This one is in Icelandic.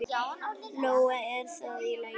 Lóa: Er það í lagi?